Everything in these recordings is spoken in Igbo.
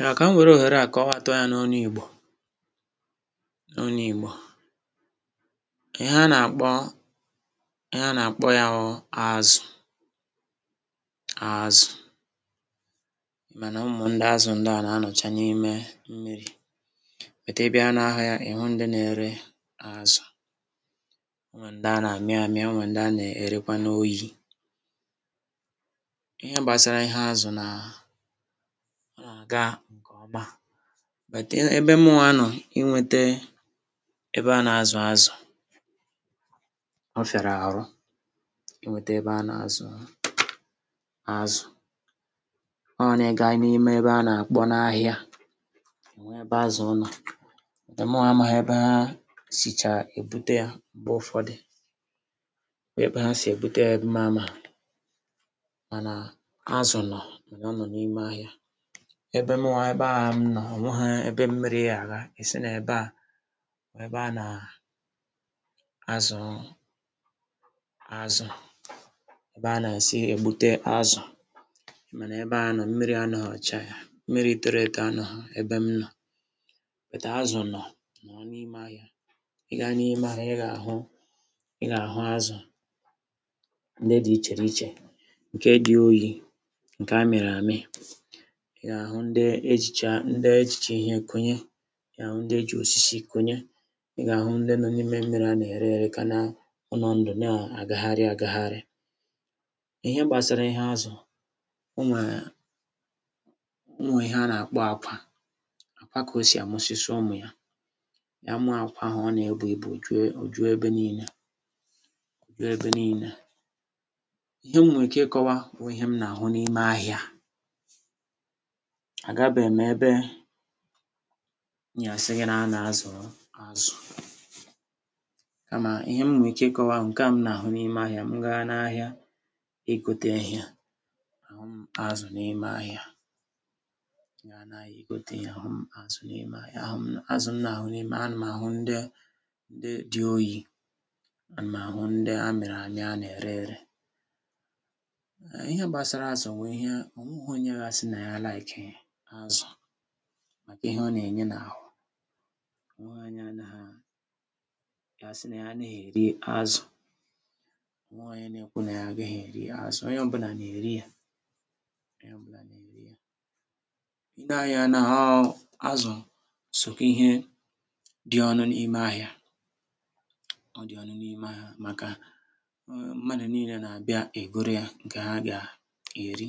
Ya, ka m were ohere a kowatụ ya n’ọnụ Igbo, n’ọnụ igbo, ihe a na-akpọ, ihe a na-akpọ ya hụ azụ, azụ. Mana ụmụ ndị azụ ndị a na anọcha n'ime mmiri. But Ị bia n'ahịa ị hụ ndị na-ere azụ. Ọ nwee ndị a na-ami amị, ọ nwee ndị a na-erekwa n'oyi. Ihe gbasara ihe azụ na, ọ na-aga nke ọma. But ebe mụwa nọ, ịnwete ebe a na-azu azụ, ọ fiara arụ inweta ebe a na-azu azụ. Ọ n'ịgaa n'ime ebe a na-akpọ n'ahịa, ịhụ ebe azụ nọ, mụwa amaghị ebe ha sịcha ebute ya mgbụ ụfọdụ, ebe ha sị ebute ya, ma amaghị. Mana azụ nọ, mana ọ nọ n'ime ahịa. Ebe mụwa, ebe a m nọ, onweghị ebe mmiri ya aga, sị na-ebe a bụ ebe a na-azu azụ, ebe a na-esi egbute azụ. Mana ebe a m nọ, mmịrị anọghị cha ya, mmiri tọrọ etọ anọghị ebe m nọ, but azụ nọ, nọ n'ime ahịa, ị gaa n'ime ahịa, ị ga-ahụ, ị ga-ahụ azụ ndị dị iche n'iche nke dị oyi, nke amịrị amị, ị ya ahụ ndị ejịcha, ndị ejịcha ihe kọnye, ị ga ahụ ndị eji osisi kọnye, ị ga-ahụ ndị nọ n'ime mmiri a na-ere ere ka na, ọ nọ ndụ na-agahari agahari. Ihe gbasara ihe azụ, ọ nwee, ọ nwe ihe a na-akpọ akwa, akwa ka osị amusisi ụmụ ya. Ya mụọ akwa ahụ, ọ na-ebụ ịbụ ejụ ejụ ebe niile, jụ ebe niile. Ihe m nwee ike ikọwa hụ ịhe m na-ahụ n'ime ahịa. Agabe m ebe m ya asị gị na a na-azu azụ, kama ihe m nwee ike ikọwa, nke a m na-ahụ n'ime ahịa, m gaa n'ahịa ịgote ịhe, ahụ m azụ n'ime ahịa, m gaa n'ahịa ịgote ịhe ahụ m azụ n'ime ahịa, ahụ m, azụ m na-ahụ n'ime, a na ahụ ndị ndị dị oyi, a na m ahụ ndị amịrị amị a na-ere ere. Ee, ịhe gbasara azụ bụ ihe, onweghị onye ga asị na ya like hị azụ, maka ịhe ọ na-enye na ahụ. Ọ nweghị onye anaghị, ya asị na ya anaghị eri azụ. Ọ nweghị onye ga-ekwu na ya anaghị eri azụ, onye ọ bụla na-eri ya, onye ọbụla na-eri ya. Ị nee ya anya, azụ so n'ịhe dị oké ọnụ n'ime ahịa, ọ dị ọnụ n'ime ahịa maka mmadụ niile na abịa egọrọ ya nke ha ga-eri,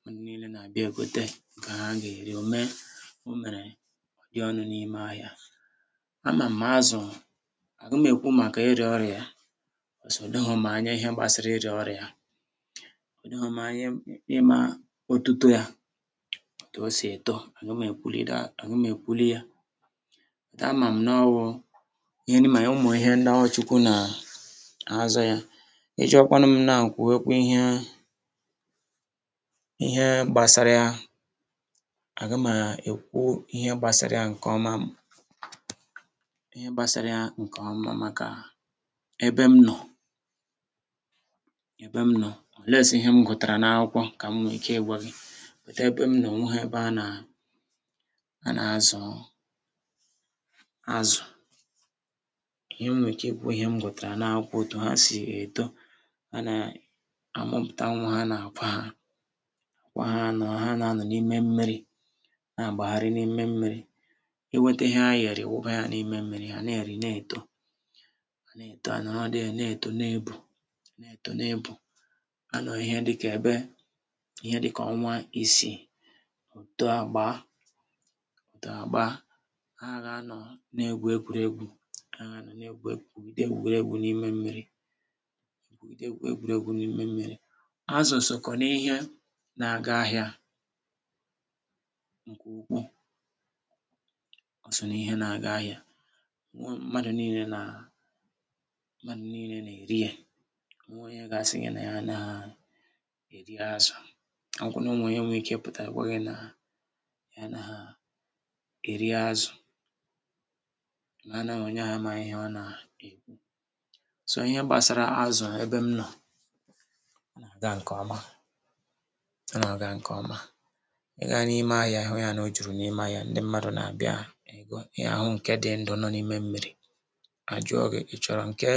mmadụ niile na-abịa egote nke ha ga-eri, ome, omere ọ dị ọnụ n'ime ahịa. Ama m azụ, agụmekwu maka ịrịa ọrịa ya, because ọ dọghọ m anya ịhe gbasara ịrịa ọrịa ya, ọ dọghọ m anya ịma ọtụtọ ya, ọtụ osị etọ, aga m ekwụlị daa, aga m ekwụlị ya. But ama m n'ohụ, ị ma, ụmụ ịhe ndị a Chukwu na-azụ ya. I jụọ kwanu m now kwu kwe kwụọ ihe, ihe gbasara ya, aga m ekwụ ịhe gbasara ya nke ọma, ịhe gbasara ya nke ọma maka ebe m nọ, ebe m nọ, unless ịhe m gụtara na akwụkwọ ka m nwee ike ịgwa gị. But ebe m nọ, onweghị ebe a na-azu azụ. Ihe m nwee ike kwu, ihe m gụtara na akwụkwọ, ọtụ ha sị etọ, ha na-amụpụta nwa ha na-akwa ha. Akwa ha nọ, ha na-anọ n'ime mmiri, n'agbahari n'ime mmiri, ịnweta ịhe ha na-eri ịwụba ya n'ime mmiri, ha a na-eri, na etọ, ha na etọ, ha anọrọ there na-etọ, na ebu, na-etọ na ebu. Ha nọ ihe dịka ebe, ihe dịka ọnwa ịsị, otoo agbaa, Otoo agbaa, ha ga-anọ na egwu egwụrị egwu, ha ga-anọ na-egwu egwu, gwụgịde egwụregwu n'ime mmiri, gwụgịde egwụregwu n'ime mmiri. Azụ sọkwa n'ihe na-aga ahịa nke ukwuu, ọ sọ n'ihe na-aga ahịa. um Mmadụ niile na, mmadụ niile na erị e. Ọ nweghị onye ga-asị gị na ya anaghị eri azụ. Ọ hụkwa na ọnwe onye nwee ike ịpụta gwa gị na ya anaghị eri azụ, mana na onye ahụ amaghị ihe ọ na-ekwu. So ihe gbasara azụ ebe m nọ, ọ na-aga nke ọma, ọ na-aga nke ọma. I gaa n'ime ahịa ịhụ ya na ọjụrụ na ahịa, ndị mmadụ na-abịa ego ya. I ga-ahụ nke dị ndụ nọ n'ime mmiri, a jụọ gị, ị chọrọ nke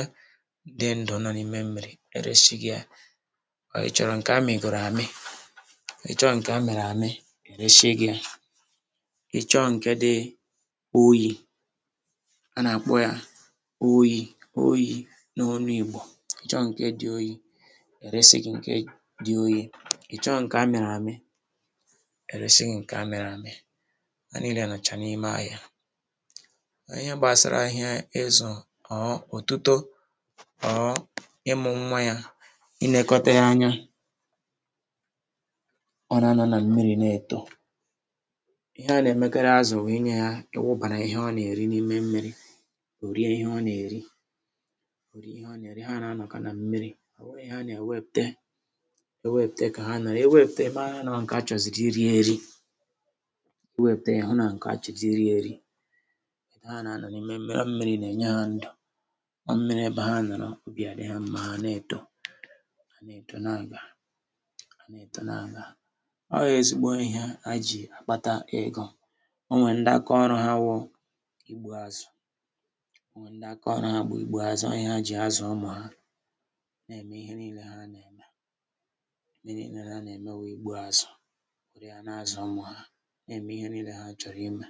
dị ndụ nọ n'ime mmiri, eresi gị ya, ka ị chọrọ nke a mịgoro amị, ị chọọ nke amịrị amị, eresi gị ya, ị chọọ nke dị oyi, a na-akpọ ya oyi, oyi n'onụ igbo, ị chọọ nke dị oyi, eresi gị nke dị oyi, ị chọọ nke mmiri amị, eresi gị nke amịrị amị. Ha niile nọcha n'ime ahịa. Ihe gbasara ihe azụ or otụtọ or ịmụ nwa ya, ị nekota ya anya, ọ na-anọ na mmiri na-etọ. Ihe a na-emekarị azụ bụ ịnye ha, ịhụbara ihe ọ na-eri n'ime mmiri, ọ rịe ihe ọ na-eri, ó rịe ihe ọ na-eri, ha na-anọka na mmiri, ọhụghị ihe a na-ewepụte, ewepụte ka ha nọrọ, ewepụte ịmara noo nke a chọzịrị iri erị. ịwepụta ya ọ nke a chọzịrị iri erị. Etu a ha na-anọ n'ime mmiri, ọ mmiri na-enye ha ndụ. Ọ mmiri ebe ha nọrọ obi adị ha mma hà a na etọ, ha na etọ na aga, ha na etọ na aga, ọ ezigbo ihe a jị akpata ego. Ọ nwee ndị aka ọrụ ha bụ ịgbu azụ, ọ nwee ndị aka ọrụ ha bụ ịgbu azụ, ọ ihe ha jị azụ ụmụ ha, na-eme ihe niile ha na-eme, ihe niile ha na-eme hụ ịgbu azụ. Were ya na azụ ụmụ ha. Na-eme ihe niile ha chọrọ ịme.